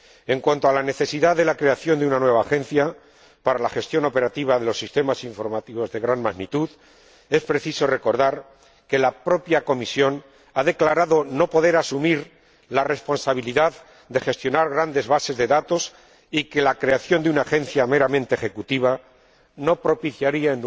En cuanto a la necesidad de la creación de una nueva Agencia para la gestión operativa de sistemas informáticos de gran magnitud, es preciso recordar que la propia Comisión ha declarado que no puede asumir la responsabilidad de gestionar grandes bases de datos y que la creación de una agencia meramente ejecutiva no propiciaría